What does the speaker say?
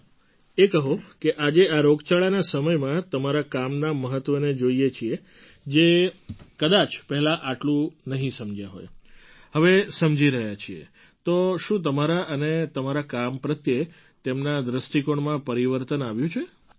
ચાલો એ કહો કે આજે આ રોગચાળાના સમયમાં તમારા કામના મહત્ત્વને જોઈએ છીએ જે કદાચ પહેલાં આટલું નહીં સમજ્યા હોય હવે સમજી રહ્યા છીએ તો શું તમારા અને તમારા કામ પ્રત્યે તેમના દૃષ્ટિકોણમાં પરિવર્તન આવ્યું છે